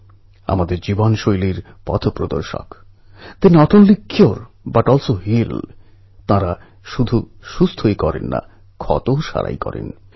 যে সমস্ত যুবক নিজের ঘর ছেড়ে বাইরে অন্য কোথাও পড়তে গেছেন তাঁরা ঐ জায়গাকে আবিষ্কার করুন